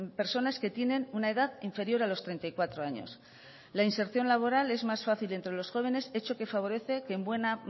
personas que tienen una edad inferior a los treinta y cuatro años la inserción laboral es más fácil entre los jóvenes hecho que favorece que en buena